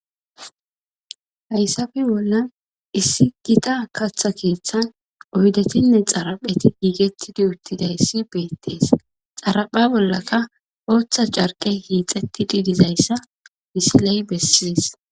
hayssafi bolla issi gita katha keeththan oydetinne xarapheti giigettidi uttidayssi beettees xarapha bollaka ooththa carqe hiixettidi dizayssa misiley bessidis